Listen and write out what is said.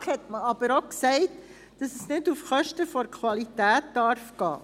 In der BaK hat man aber auch gesagt, dass es nicht auf Kosten der Qualität gehen darf.